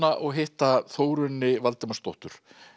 og hitta Þórunni Valdimarsdóttur